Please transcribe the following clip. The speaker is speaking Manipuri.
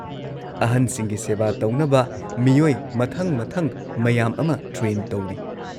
ꯑꯍꯟꯁꯤꯡꯒꯤ ꯁꯦꯕꯥ ꯇꯧꯅꯕ ꯃꯤꯑꯣꯏ ꯃꯊꯪ ꯃꯊꯪ ꯃꯌꯥꯝ ꯑꯃ ꯇ꯭ꯔꯦꯟ ꯇꯧꯔꯤ꯫